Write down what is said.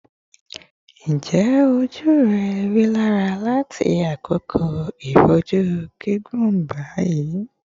Njẹ oju rẹ rilara lati akoko iboju gigun bi?